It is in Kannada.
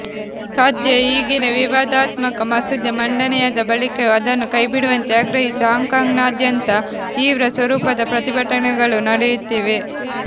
ಸದ್ಯ ಈಗಿನ ವಿವಾದಾತ್ಮಕ ಮಸೂದೆ ಮಂಡನೆಯಾದ ಬಳಿಕವೂ ಅದನ್ನು ಕೈಬಿಡುವಂತೆ ಆಗ್ರಹಿಸಿ ಹಾಂಕಾಂಗ್ನಾದ್ಯಂತ ತೀವ್ರ ಸ್ವರೂಪದ ಪ್ರತಿಭಟನೆಗಳು ನಡೆಯುತ್ತಿವೆ